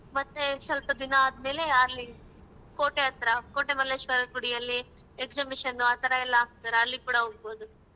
ಮತ್ತೇ ಸ್ವಲ್ಪ ದಿನ ಆದ್ಮೇಲೆ ಅಲ್ಲಿ ಕೋಟೆ ಹತ್ರ ಕೋಟೆಮಲ್ಲೇಶ್ವರನ್ ಗುಡಿಯಲ್ಲಿ exhibition ಆ ಥರಾ ಎಲ್ಲಾ ಹಾಕ್ತಾರೆ ಅಲ್ಲಿ ಕೂಡ ಹೋಗ್ಬೋದು.